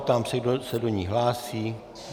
Ptám se, kdo se do ní hlásí.